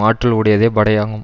ஆற்றல் உடையதே படையாகும்